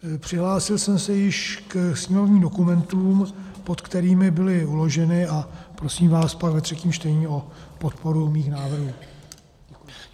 Přihlásil jsem se již ke sněmovním dokumentům, pod kterými byly uloženy, a prosím vás pak ve třetím čtení o podporu mých návrhů.